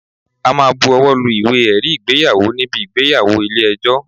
A máa bu owó lu Ìwé ẹ̀rí ìgbéyàwó níbi ìgbéyàwó ilé ẹjọ́.